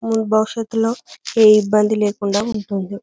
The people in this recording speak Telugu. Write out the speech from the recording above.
భవిష్యతులో ఏ ఇబ్బంది లేకుండా ఉంటుంది.